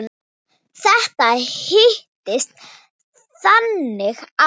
Þetta hittist þannig á.